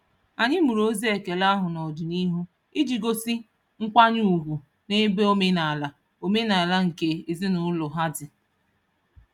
Anyị mụrụ ozi ekele ahụ n'ọdịnihu iji gosi nkwanye ugwu n'ebe omenaala omenaala nke ezinụụlọ ha dị.